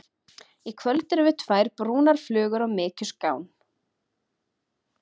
Í kvöld erum við tvær brúnar flugur á mykjuskán.